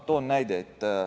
Toon näite.